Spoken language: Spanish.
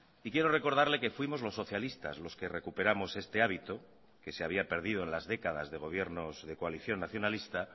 y quiero recordarle que fuimos los socialistas los que recuperamos este hábito que se había perdido en las décadas de gobiernos de coalición nacionalista